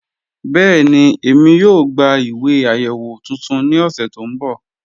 Bẹẹni, ẹ̀mí yóò gbà ìwé ayéwo tuntun ni ọ̀ṣẹ to nbọ́.